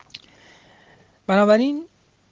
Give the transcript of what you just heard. поговорим